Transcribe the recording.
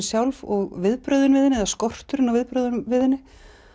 sjálf og viðbrögðin við henni eða skorturinn á viðbrögðum við henni